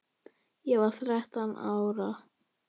Ég var þrettán ára.